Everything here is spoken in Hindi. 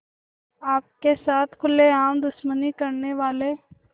आपके साथ खुलेआम दुश्मनी करने वाले